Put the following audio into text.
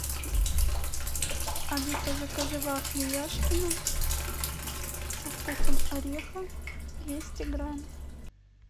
алиса закажи вафли яшкино со вкусом ореха двести грамм